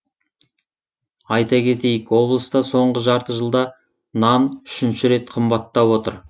айта кетейік облыста соңғы жарты жылда нан үшінші рет қымбаттап отыр